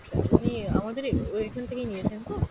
আপনি আমাদের আহ ওইখান থেকেই নিয়েছেন তো?